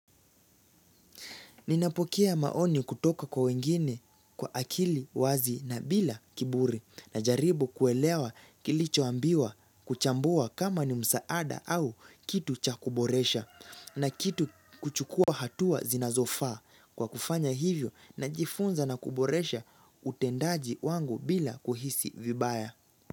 Ninapokea maoni kutoka kwa wengine kwa akili wazi na bila kiburi najaribu kuelewa kilichoambiwa kuchambua kama ni msaada au kitu cha kuboresha na kitu kuchukua hatua zinazofaa kwa kufanya hivyo najifunza na kuboresha utendaji wangu bila kuhisi vibaya.